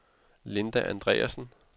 Linda Andreasen